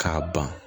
K'a ban